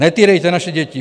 Netýrejte naše děti.